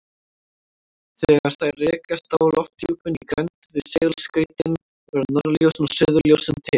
Þegar þær rekast á lofthjúpinn í grennd við segulskautin verða norðurljósin og suðurljósin til.